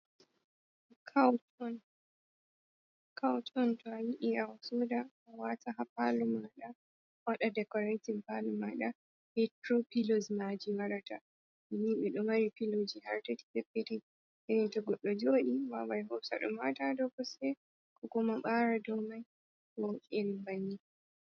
Cauton to a yiɗi a soda a wata ha pal maɗa waɗa dekoratin pal maɗa, hetro pillos maji warata ni be ɗo mari piloji har tati peppetel irin to goɗɗo joɗi wawai hosa ɗum wata do kose ko kuma ɓara do mai mo eri banni.